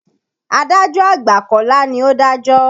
Adájọ́ àgbà Kọ́lá ni ó dájọ́.